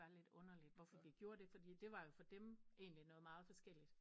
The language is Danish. Var lidt underligt hvorfor vi gjorde det fordi det var jo for dem noget meget forskelligt